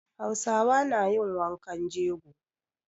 Hausawa na yin wankan jego.